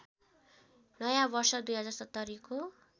नयाँ वर्ष २०७०को